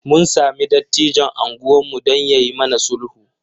Mun sami dattijon unguwarmu don ya yi mana sulhu.